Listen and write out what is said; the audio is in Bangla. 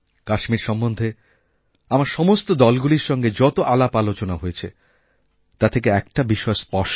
কাশ্মীর সম্বন্ধে আমার সমস্ত দলগুলিরসঙ্গে যত আলাপআলোচনা হয়েছে তা থেকে একটা বিষয় স্পষ্ট